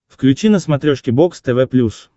включи на смотрешке бокс тв плюс